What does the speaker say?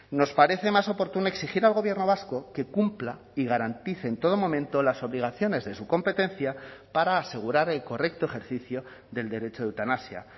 nos parece más oportuno exigir al gobierno vasco que cumpla y garantice en todo momento las obligaciones de su competencia para asegurar el correcto ejercicio del derecho de eutanasia